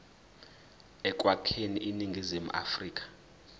ekwakheni iningizimu afrika